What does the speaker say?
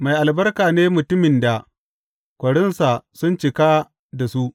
Mai albarka ne mutumin da korinsa sun cika da su.